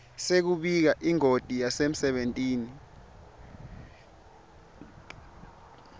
sekubika ingoti yasemsebentini